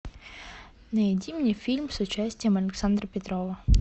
найди мне фильм с участием александра петрова